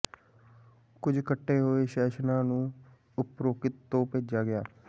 ਕੁਝ ਕੱਟੇ ਹੋਏ ਸੈਸ਼ਨਾਂ ਨੂੰ ਉਪਰੋਕਤ ਤੋਂ ਭੇਜਿਆ ਗਿਆ